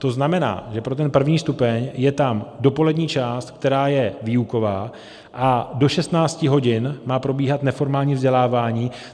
To znamená, že pro ten první stupeň je tam dopolední část, která je výuková, a do 16 hodin má probíhat neformální vzdělávání.